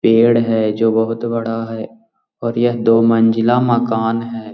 पेड़ है जो बहुत बड़ा है और यह दो मंजिला मकान है।